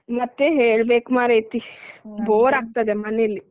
ಮತ್ತೆ ಹೇಳ್ಬೇಕು ಮಾರೇತಿ bore ಅಗ್ತದೆ ಮನೆಲ್ಲಿ.